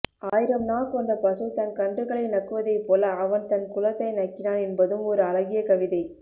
ஆயிரம் நா கொண்ட பசு தன் கக்ன்றுகளை நக்குவதைப்போல அவன் தன் குலத்தை நக்கினான் என்பதும் ஒரு அழகிய கவிதை